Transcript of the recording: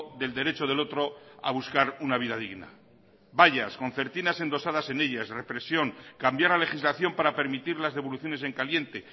del derecho del otro a buscar una vida digna vallas concertinas endosadas en ellas represión cambiar la legislación para permitir las devoluciones en caliente